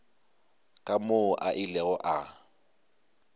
ka moo a ilego a